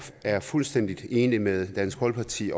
er fuldstændig enige med dansk folkeparti